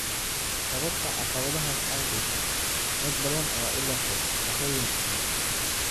Sababta caqabadahaas awgeed, dad badan ayaa u leexday shaqooyin kale.